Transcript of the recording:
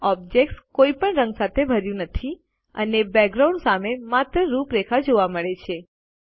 object કોઈપણ રંગ સાથે ભર્યું નથી અને બેકગ્રાઉન્ડ સામે માત્ર રૂપરેખા જોવા મળે છે